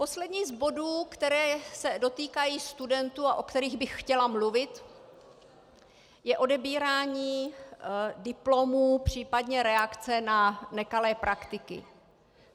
Poslední z bodů, které se dotýkají studentů a o kterých bych chtěla mluvit, je odebírání diplomů, případně reakce na nekalé praktiky.